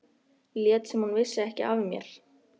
Lét sem hún vissi ekki af mér.